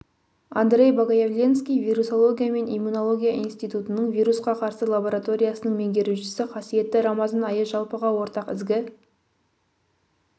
андрей богоявленский вирусология мен иммунология институтының вирусқа қарсы лабораториясының меңгерушісі қасиетті рамазан айы жалпыға ортақ ізгі